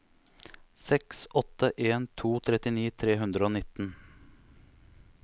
seks åtte en to trettini tre hundre og nitten